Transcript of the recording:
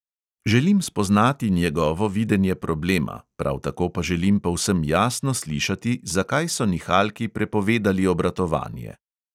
Želim spoznati njegovo videnje problema, prav tako pa želim povsem jasno slišati, zakaj so nihalki prepovedali obratovanje.